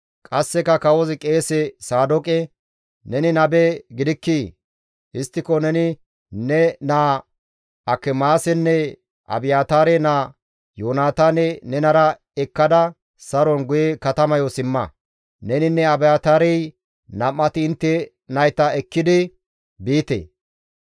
Qasseka kawozi qeese Saadooqe, «Neni nabe gidikkii? Histtiko neni ne naa Akimaasenne Abiyaataare naa Yoonataane nenara ekkada saron guye katamayo simma; neninne Abiyaataarey nam7ati intte nayta ekkidi biite.